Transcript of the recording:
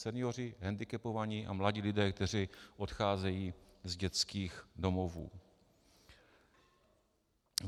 Senioři, hendikepovaní a mladí lidé, kteří odcházejí z dětských domovů.